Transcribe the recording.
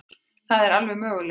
Það er alveg möguleiki.